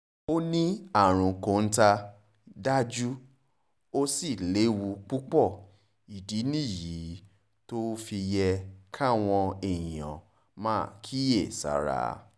ó ní àrùn kọ́ńtà dájú ó sì léwu púpọ̀ ìdí nìyí tó fi yẹ káwọn èèyàn máa kíyèsára